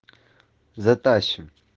затащим